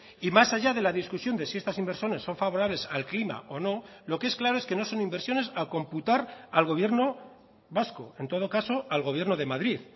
y más allá de la discusión de si estas inversiones son favorables al clima o no lo que es claro es que no son inversiones a computar al gobierno vasco en todo caso al gobierno de madrid